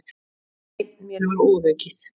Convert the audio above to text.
Nei, mér var ofaukið.